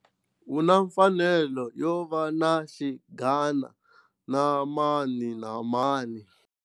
U na mfanelo yo va na xinghana na mani na mani.